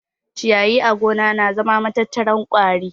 Ciyayi a gona na zama matattarar ƙwari